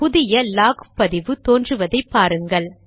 புதிய லாக் பதிவு தோன்றுவதை பாருங்கள்